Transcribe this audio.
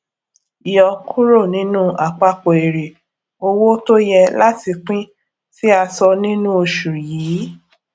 yọ kúrò nínú àpapọ èrè owó tó yẹ láti pín tì a sọ nínú oṣù yìí